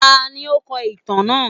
Tani o kọ itan naa?